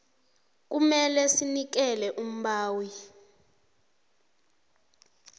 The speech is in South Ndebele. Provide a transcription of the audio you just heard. kumele sinikele umbawi